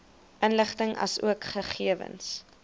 inligting asook gegewens